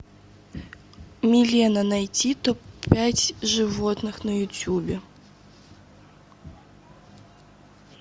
милена найти топ пять животных на ютубе